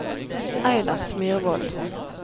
Eilert Myrvoll